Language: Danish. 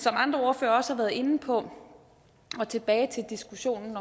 andre ordførere også har været inde på og tilbage til diskussionen